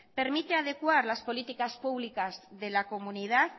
permite adecuar las políticas públicas